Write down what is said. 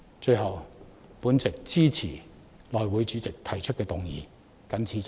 最後，我支持內務委員會主席提出的議案。